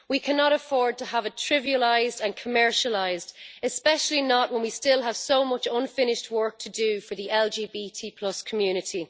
We cannot afford to have it trivialised and commercialised, especially not when we still have so much unfinished work to do for the LGBT community.